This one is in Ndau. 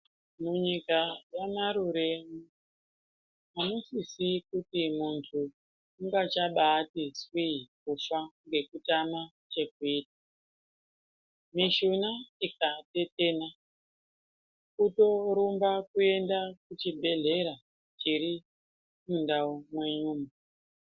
Munyika yaMarure amusisi kuti muntu ungachabati tswi kutya ngekutama chekuita, mishuna ikatetena kutoronga kuenda kuchibhedhlera chiri mundau mwenyumo.